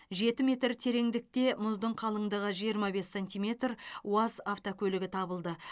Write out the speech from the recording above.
жеті метр тереңдікте мұздың қалыңдығы жиырма бес сентиметр уаз автокөлігі табылды